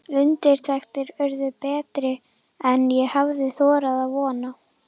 Undirtektir urðu betri en ég hafði þorað að vona.